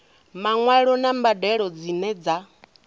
maṅwalo na mbadelo dzine dza